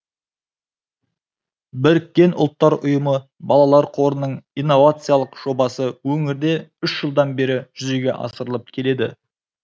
біріккен ұлттар ұйымы балалар қорының инновациялық жобасы өңірде үш жылдан бері жүзеге асырылып келеді